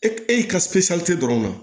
E e y'i ka dɔrɔn kan